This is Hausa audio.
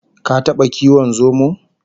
Ka taba kiwon zomo?